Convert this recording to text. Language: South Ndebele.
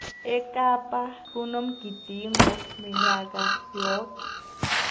ekapa kunomgidingo minyaka yoke